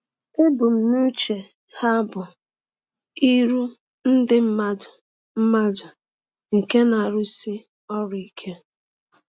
Ebumnuche ha bụ iru ndị mmadụ mmadụ nke na-arụsi ọrụ ike.